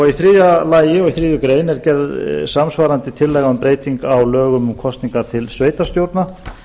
í þriðja lagi og í þriðju grein er gerð samsvarandi tillaga um breytingu á lögum um kosningar til sveitarstjórna